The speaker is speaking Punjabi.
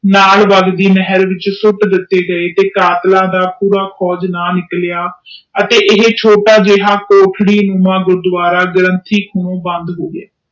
ਨਾਲ ਵਗ ਦੀ ਨਹਿਰ ਵਿਚ ਸੁੱਟ ਦਿਤੇ ਗਏ ਤੇ ਕਾਤਲਾਂ ਦਾ ਪੂਰਾ ਖੋਜ ਨਾ ਨਿਕਲਿਆ ਅਤੇ ਇਹ ਛੋਟਾ ਜਿਹਾ ਕੋਠੜੀ ਨੁਮਾ ਗੁਰੂਦਵਾਰਾ ਬੰਦ ਹੋਗਿਆ